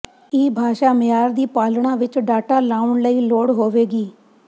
ਇਹ ਭਾਸ਼ਾ ਮਿਆਰ ਦੀ ਪਾਲਣਾ ਵਿੱਚ ਡਾਟਾ ਲਿਆਉਣ ਲਈ ਲੋੜ ਹੋਵੇਗੀ